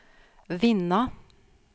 vinna